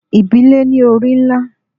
Ibile ni ori nla